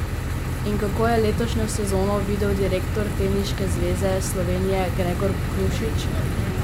In kako je letošnjo sezono videl direktor Teniške zveze Slovenije Gregor Krušič?